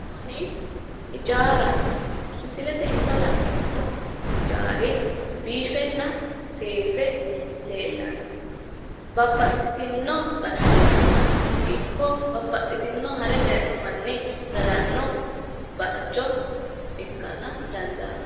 kuni hijaaraho. misilte aana la'neemmo hijaari biifenna seese leellanno. babbaxxitino gashshootino ikko babaxitino hare daayino manni galanno darga ikkara dandaanno.